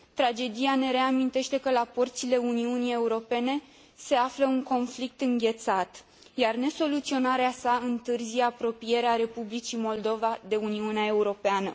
Tragedia ne reamintește că la porțile Uniunii Europene se află un conflict înghețat, iar nesoluționarea sa întârzie apropierea Republicii Moldova de Uniunea Europeană.